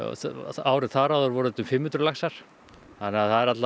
árið þar áður voru þetta um fimm hundruð laxar þannig að það er